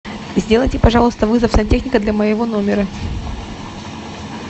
сделайте пожалуйста вызов сантехника для моего номера